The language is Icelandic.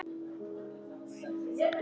Allt á sinn tíma.